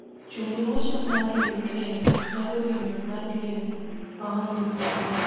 chung nuocho mar uk mar winjo mar liel maonge msalaba